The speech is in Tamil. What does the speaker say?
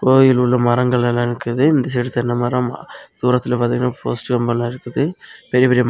கோயில் உள்ள மரங்கள் எல்லா இருக்குது இந்த சைடு தென்னை மரம் தூரத்துல பாத்திங்கனா போஸ்டு கம்பம்லாம் இருக்குது பெரிய பெரிய ம்.